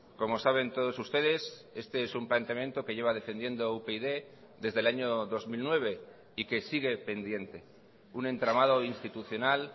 como saben todos ustedes este es un planteamiento que lleva defendiendo upyd desde el año dos mil nueve y que sigue pendiente un entramado institucional